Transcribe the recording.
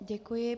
Děkuji.